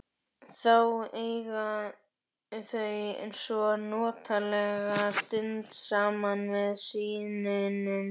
Þá eiga þau svo notalega stund saman með syninum.